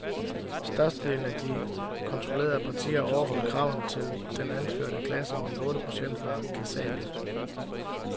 Størstedelen af de kontrollerede partier overholdt kravene til den anførte klasse, men otte procent var kassable.